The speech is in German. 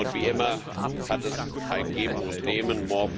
Wie immer, ist es ein Geben und Nehmen.